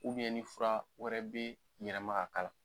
ni fura wɛrɛ bi yɛlɛma ka k'a la